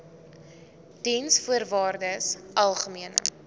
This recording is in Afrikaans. diensvoorwaardesalgemene